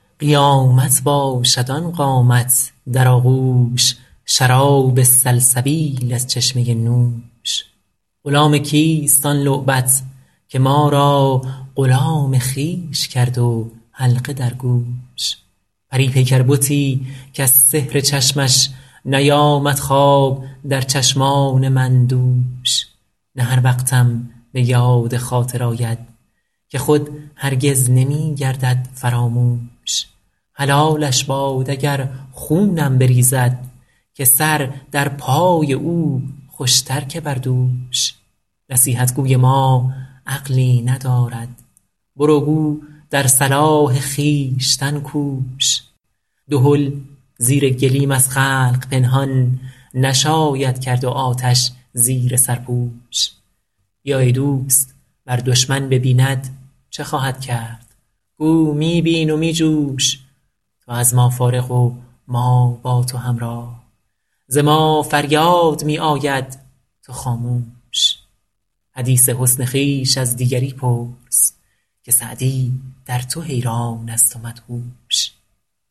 قیامت باشد آن قامت در آغوش شراب سلسبیل از چشمه نوش غلام کیست آن لعبت که ما را غلام خویش کرد و حلقه در گوش پری پیکر بتی کز سحر چشمش نیامد خواب در چشمان من دوش نه هر وقتم به یاد خاطر آید که خود هرگز نمی گردد فراموش حلالش باد اگر خونم بریزد که سر در پای او خوش تر که بر دوش نصیحت گوی ما عقلی ندارد برو گو در صلاح خویشتن کوش دهل زیر گلیم از خلق پنهان نشاید کرد و آتش زیر سرپوش بیا ای دوست ور دشمن ببیند چه خواهد کرد گو می بین و می جوش تو از ما فارغ و ما با تو همراه ز ما فریاد می آید تو خاموش حدیث حسن خویش از دیگری پرس که سعدی در تو حیران است و مدهوش